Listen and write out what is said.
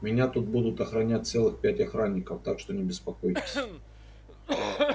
меня тут будут охранять целых пять охранников так что не беспокойтесь